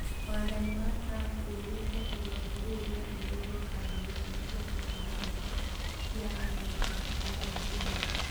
Wathani wa Trump ugĩte igoti rĩu rĩrongoreirie kambuni nene cia tekinoronjĩ cia Amerika gũtarĩ kĩhoto.